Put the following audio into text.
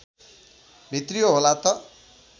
भित्रियो होला त